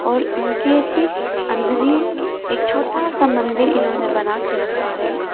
और इनके ठीक अंदर ही एक छोटा सा मंदिर इन्होंने बनाके रखा है।